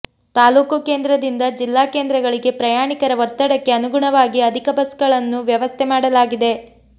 ತಾಲೂಕು ಕೇಂದ್ರದಿಂದ ಜಿಲ್ಲಾ ಕೇಂದ್ರಗಳಿಗೆ ಪ್ರಯಾಣಿಕರ ಒತ್ತಡಕ್ಕೆ ಅನುಗುಣವಾಗಿ ಅಧಿಕ ಬಸ್ಗಳನ್ನು ವ್ಯವಸ್ಥೆ ಮಾಡಲಾಗಿದೆ